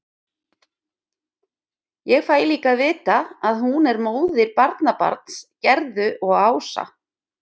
Ég fæ líka að vita að hún er móðir barnabarns Gerðu og Ása.